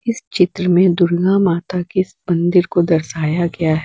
इस चित्र में दुर्गा माता के इस मंदिर को दर्शाया गया--